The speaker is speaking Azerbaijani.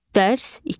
Dərs 2.